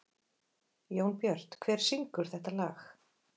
Jónbjört, hver syngur þetta lag?